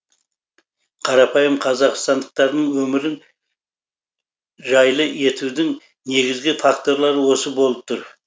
қарапайым қазақстандықтардың өмірін жайлы етудің негізгі факторлары осы болып тұр